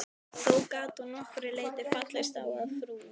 Þó gat hún að nokkru leyti fallist á að frú